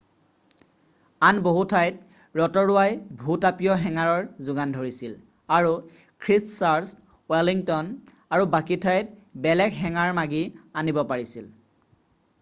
আন বহু ঠাইত ৰতৰুৱাই ভূ-তাপীয় হেঙাৰৰ যোগান ধৰিছিল আৰু খ্ৰীষ্টচাৰ্চ ৱেলিংতন আৰু বাকী ঠাইত বেলেগ হেঙাৰ মাগি আনিব পাৰিছিল